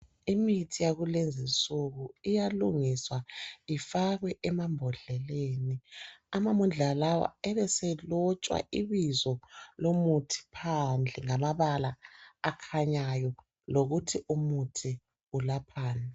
Imithi yakulezinsuku iyalugniswa ifakwe emambodleleni, amambodlela lawo ebeselotshwa ibizo lomuthi phandle ngamabala akhanyayo lokuthi umuthi ulaphani.